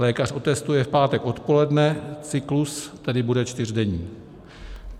Lékař otestuje v pátek odpoledne, cyklus tedy bude čtyřdenní.